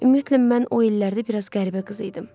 Ümumiyyətlə mən o illərdə bir az qəribə qız idim.